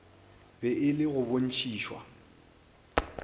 be e le go botšišwa